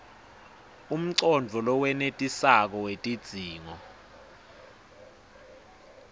umcondvo lowenetisako wetidzingo